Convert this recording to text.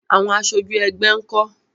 Àwọn aṣojú ẹgbẹ́ nkọ?